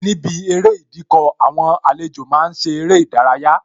Níbi eré Ìdíkọ̀, àwọn àlejò máa ń ṣe eré ìdárayá